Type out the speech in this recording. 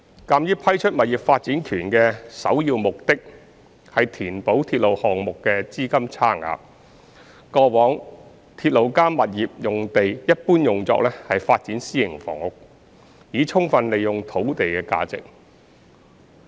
鑒於批出物業發展權的首要目的是填補鐵路項目的資金差額，過往"鐵路加物業"用地一般用作發展私營房屋，以充分利用土地的價值。